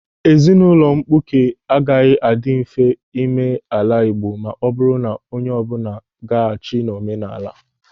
Ezinụlọ mkpuke agaghị adị mfe ime n'ala Igbo ma o buru onye ọbụla agaghachi n'omenala.